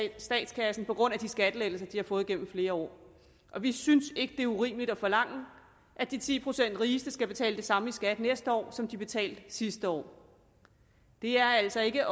i statskassen på grund af de skattelettelser de har fået igennem flere år vi synes ikke at det er urimeligt at forlange at de ti procent rigeste skal betale det samme i skat næste år som de betalte sidste år det er altså ikke